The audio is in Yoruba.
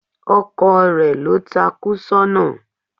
Ọkò rẹ lo takú sóna